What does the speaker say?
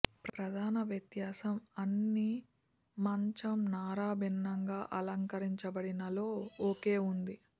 ప్రధాన వ్యత్యాసం అన్ని మంచం నార భిన్నంగా అలంకరించబడిన లో ఒకే ఉంది